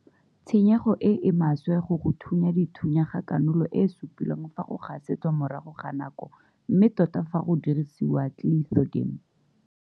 Tshenyego e e maswe go go thunya dithunya ga kanola e supilwe fa go gasetswa morago ga nako mme tota fa go dirisiwa Clethodim.